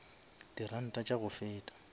di ranta tša go feta